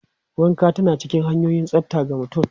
Wanka tana cikin hanyoyin tsafta ga mutum.